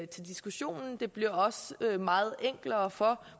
til diskussionen det bliver også meget enklere for